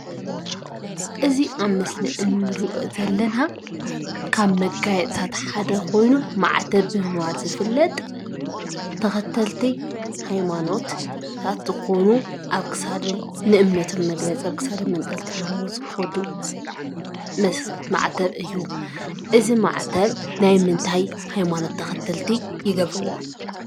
እዚ ኣብ ምስሊ እንሪኦ ዘለና ካብ መጋየፅታት ሓደ ኮይኑ ማዕተብ ብምባል ዝፍለጥ ብተኸተልቲ ሃይማኖታት ዝኾኑ ኣብ ክሳዶም ንእምነቶም መግለፂ ኣብ ክሳዶም ኣንጠልጢሎሞ ዝኸዱ ማዕተብ እዩ፡፡ እዚ ማዕተብ ናይ ምንታይ ሃይማኖት ተኸተልቲ ይገብርዎ?